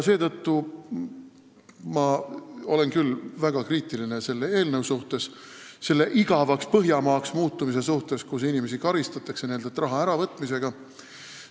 Seetõttu olen ma väga kriitiline selle eelnõu suhtes, igavaks Põhjamaaks muutumise suhtes, kus inimesi karistatakse nendelt raha äravõtmisega.